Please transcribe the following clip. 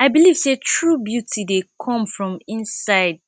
i believe sey true beauty dey come from inside